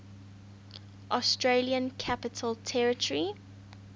australian capital territory